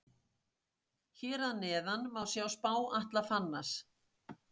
Hér að neðan má sjá spá Atla Fannars.